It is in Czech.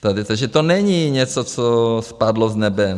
Takže to není něco, co spadlo z nebe.